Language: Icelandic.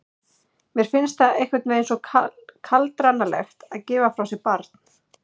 Mér finnst það einhvern veginn svo kaldranalegt að gefa frá sér barn.